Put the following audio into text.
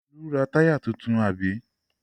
Olú ra táyà tuntun, àbí?